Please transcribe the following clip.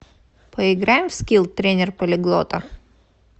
поиграем в скилл тренер полиглота